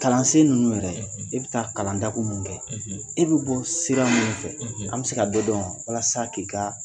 Kalansen ninnu yɛrɛ, e be taa kalan dakun mun kɛ, e be bɔ sira mun fɛ, an be se k'a dɔ dɔn wa ? Walasa k'i kaa